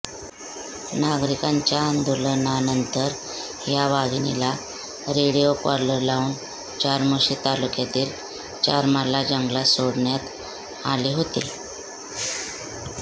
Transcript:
नागरिकांच्या आंदोलनानंतर या वाघिणीला रेडिओ कॉलर लावून चार्मोशी तालुक्यातील चारमाला जंगलात सोडण्यात आले होते